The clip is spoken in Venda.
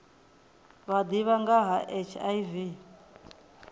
vha ḓivha nga ha hiv